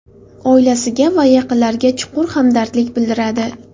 oilasiga va yaqinlariga chuqur hamdardlik bildiradi.